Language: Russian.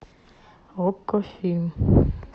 окко фильм